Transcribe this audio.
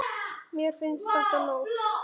Mér fannst þetta nóg.